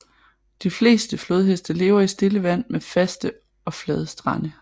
De fleste flodheste lever i stille vand med faste og flade strande